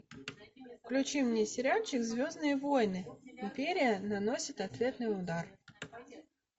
включи мне сериальчик звездные войны империя наносит ответный удар